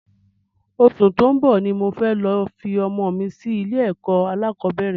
Osù tó ń bò ní mo fẹ́ lọ fi ọmọ mi sí ilé ẹ̀kọ́ alákọ̀bẹ́rẹ̀